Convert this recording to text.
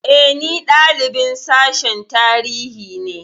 E, ni dalibin Sashen Tarihi ne.